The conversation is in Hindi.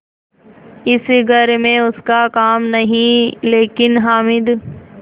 इस घर में उसका काम नहीं लेकिन हामिद